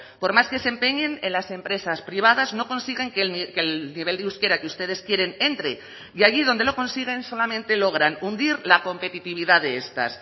por más que se empeñen en las empresas privadas no consiguen que el nivel de euskera que ustedes quieren entre y allí donde lo consiguen solamente logran hundir la competitividad de estas